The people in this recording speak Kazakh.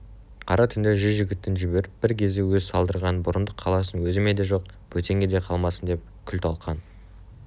қара түнде жүз жігітін жіберіп бір кезде өзі салдырған бұрындық қаласын өзіме де жоқ бөтенге де қалмасындеп күл-талқан